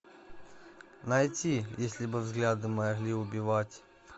найти если бы взгляды могли убивать